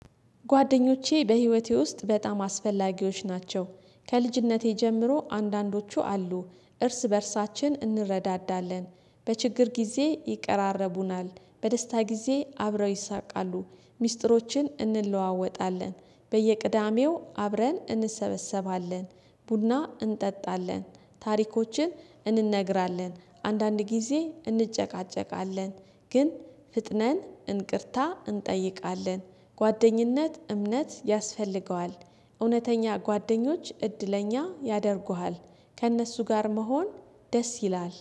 ጓደኞቼ በህይወቴ ውስጥ በጣም አስፈላጊዎች ናቸው። ከልጅነቴ ጀምሮ አንዳንዶቹ አሉ። እርስ በእርሳችን እንረዳዳለን። በችግር ጊዜ ይቀራረቡናል። በደስታ ጊዜ አብረው ይስቃሉ። ሚስጥሮችን እንለዋወጣለን። በየቅዳሜው አብረን እንሰበሰባለን። ቡና እንጠጣለን። ታሪኮችን እንነግራለን። አንዳንድ ጊዜ እንጨቃጨቃለን። ግን ፈጥነን ይቅርታ እንጠይቃለን። ጓደኝነት እምነት ያስፈልገዋል። እውነተኛ ጓደኞች እድለኛ ያደርጉሃል። ከእነሱ ጋር መሆን ደስ ይላል።